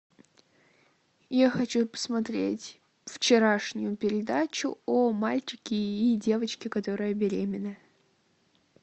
я хочу посмотреть вчерашнюю передачу о мальчике и девочке которая беременна